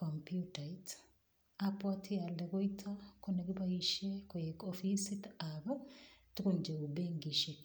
computait. Abwote ale koito ko nekiboishe koek ofisitab tukun cheu benkishek.